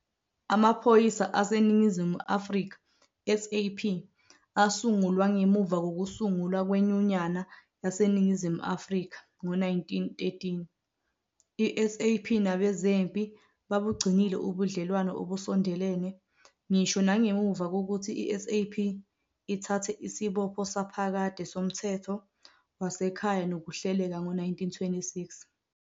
Amaphoyisa aseNingizimu Afrika, SAP, asungulwa ngemuva kokusungulwa kweNyunyana yaseNingizimu Afrika ngo-1913. I-SAP nabezempi babugcinile ubudlelwano obusondelene ngisho nangemva kokuthi iSAP ithathe isibopho saphakade somthetho wasekhaya nokuhleleka ngo-1926.